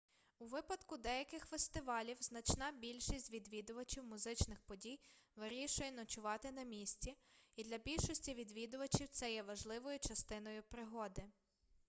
у випадку деяких фестивалів значна більшість відвідувачів музичних подій вирішує ночувати на місці і для більшості відвідувачів це є важливою частиною пригоди